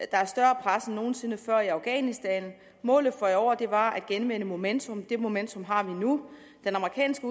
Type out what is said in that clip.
der er større pres end nogen sinde før i afghanistan målet for i år var at genvinde momentum det momentum har vi nu den amerikanske